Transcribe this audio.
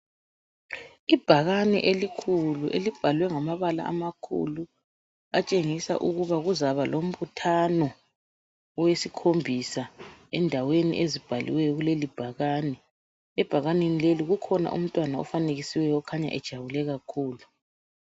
Ibhakani elikhulu elibhalwe ngamabala amakhulu atshengiza ukuba kuzaba lombuthano wesikhombisa endaweni ezibhaliweyo kuleli bhakani. Ebhakani leli kulomntwana afanekisweyo okhanya ejabule kakhulu.